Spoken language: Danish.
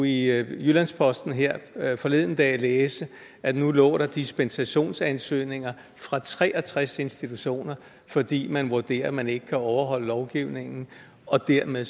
i jyllands posten her forleden dag læse at nu lå der dispensationsansøgninger fra tre og tres institutioner fordi man vurderer at man ikke kan overholde lovgivningen og dermed